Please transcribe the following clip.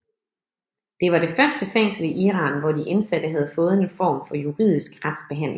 Det var det første fængsel i Iran hvor de indsatte havde fået en form for juridisk retsbehandling